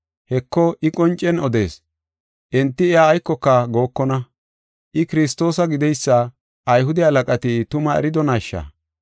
Heko, I qoncen odees; enti iya aykoka gookona. I Kiristoosa gideysa Ayhude halaqati tuma eridonaasha?